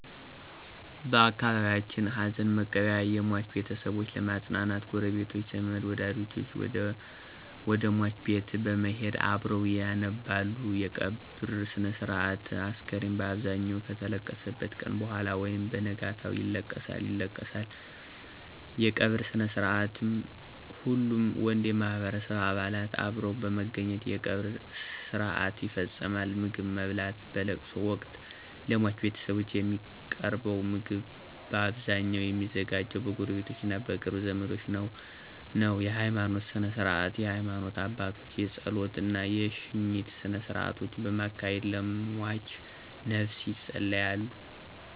በአካባቢየችን ሀዘንመቀበያ የሟች ቤተሰቦች ለመጽናናት ጉረቤቶች፣ ዘመድወደጅ ወደሟች ቤት በመሄድ አብረዉ ያነባሉ _የቀብር ስነስርአት፣ አስከሬኑ ባብዛኘዉ ከተለቀሰበት ቀነ በኋላ ወይም በነጋታው ይለቀሳል ይለቀሳል_የቀበርስነስርአትሁሉም ወንድ የማህበረሰቡ አባላት አብረዉ በመገኘት የቀብር ስርአት ይፈጸማል _ምግብማብላት በለቅሶወቅት ለሟች ቤተሰብ የሚቀርበዉ ምግብ ባብዛኘዉ የሚዘጋጀዉ በጉረቤቶቾ እና በቅርብ ዘመዶች ነዉ ነዉ_የሀይማኖት ስነስርዓት የሀይማኖት አባቶች የጾለት እና የሽኝት ስነስርአቶችን በማካሄድ ለሟችነፍስ የጸልያሉ።